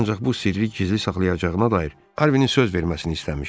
Ancaq bu sirri gizli saxlayacağına dair Harvinin söz verməsini istəmişdi.